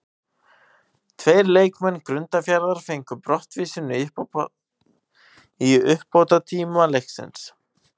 Tveir leikmenn Grundarfjarðar fengu brottvísun í uppbótartíma leiksins.